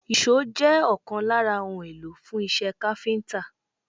Èṣó jẹ́ ọ̀kan lára ohun èlò fún iṣẹ́ káfíńtà